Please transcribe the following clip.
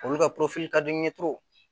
Olu ka ka di